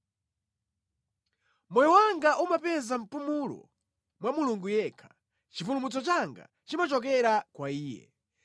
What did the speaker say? Moyo wanga umapeza mpumulo mwa Mulungu yekha; chipulumutso changa chimachokera kwa Iye.